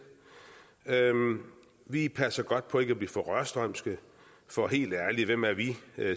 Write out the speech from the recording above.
vi passer godt på ikke at blive for rørstrømske for helt ærlig hvem er vi